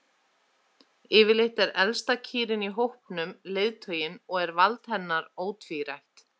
Yfirleitt er elsta kýrin í hópnum leiðtoginn og er vald hennar ótvírætt.